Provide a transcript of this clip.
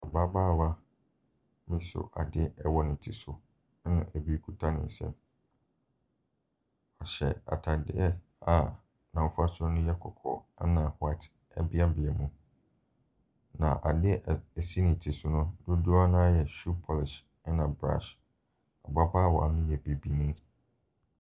Ababaawa no so adeɛ wɔ ne tiri so, ɛna ɛbi kita ne nsam. Ɔhyɛ atadeɛ a n'afasuo no yɛ kɔkɔɔ, ɛnna white beabea mu. Na adeɛ a ɛsi ne ti so no, dodoɔ no ara yɛ shoe polish, ɛna brush. Ababaawa no yɛ Bibini.